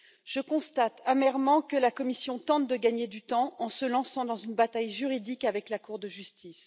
Je constate amèrement que la Commission tente de gagner du temps en se lançant dans une bataille juridique avec la Cour de justice.